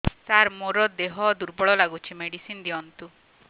ସାର ମୋର ଦେହ ଦୁର୍ବଳ ଲାଗୁଚି ମେଡିସିନ ଦିଅନ୍ତୁ